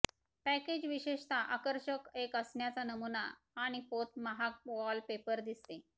package विशेषतः आकर्षक एक असण्याचा नमुना आणि पोत महाग वॉलपेपर दिसते